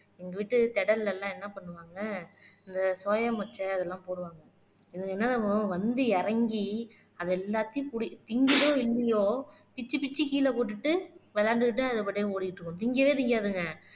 திடல்ல எல்லாம் என்ன பண்ணுவாங்க இந்த சோயா முச்சை அதெல்லாம் போடுவாங்க இது என்னாகும் வந்து இறங்கி அது எல்லாத்தையும் குடி திங்கிதோ இல்லையோ பிச்சு பிச்சு கீழே போட்டுட்டு விளையாண்டுட்டுதான் அது பாட்டுக்கு ஓடிட்டு இருக்கும் திங்கவே திங்காதுங்க